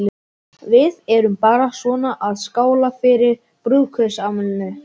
Við erum bara svona að skála fyrir brúðkaupsafmælinu.